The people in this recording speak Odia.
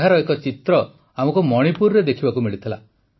ଏହାର ଏକ ଚିତ୍ର ଆମକୁ ମଣିପୁରରେ ଦେଖିବାକୁ ମିଳିଥିଲା